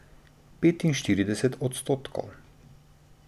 Petinštirideset odstotkov.